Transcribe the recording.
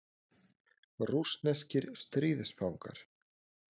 Rússneskir stríðsfangar.